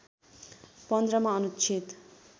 १५ मा अनुच्छेद